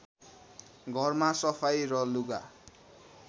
घरमा सफाइ र लुगा